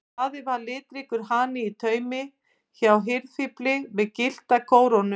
Daði var litríkur hani í taumi hjá hirðfífli með gyllta kórónu.